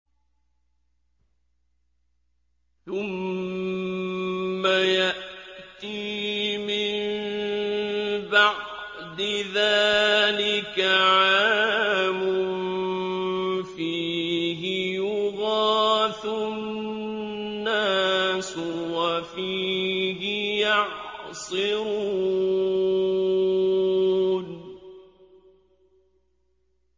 ثُمَّ يَأْتِي مِن بَعْدِ ذَٰلِكَ عَامٌ فِيهِ يُغَاثُ النَّاسُ وَفِيهِ يَعْصِرُونَ